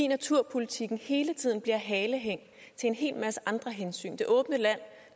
naturpolitikken bliver hele tiden halehæng til en hel masse andre hensyn i det åbne land